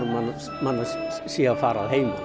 manns sé að fara